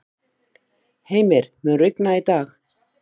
Heimir, mun rigna í dag?